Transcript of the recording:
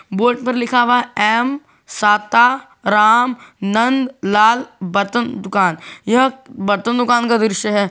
Board पर लिखा हुआ एम साता राम नन्द लाल बर्तन दुकान यह बर्तन दुकान का दृश्य है।